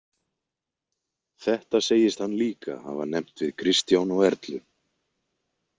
Þetta segist hann líka hafa nefnt við Kristján og Erlu.